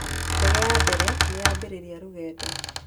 Ndege ya mbere nĩ yambĩrĩria rũgendo.